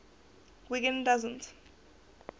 wiggin doesn t